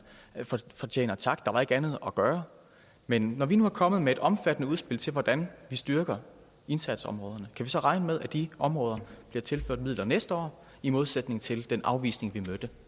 fortjener tak for der var ikke andet at gøre men når vi nu er kommet med et omfattende udspil til hvordan vi styrker indsatsområderne kan vi så regne med at de områder bliver tilført midler næste år i modsætning til den afvisning vi mødte